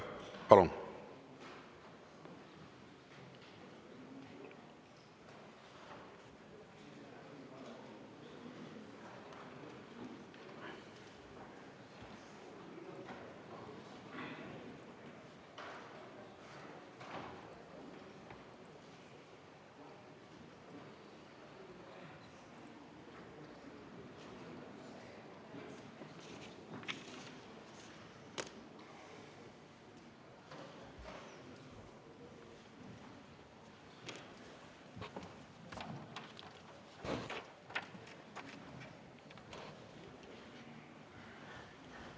Palun!